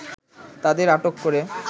তাদের আটক করে